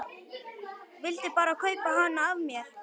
Vildi bara kaupa hana af mér!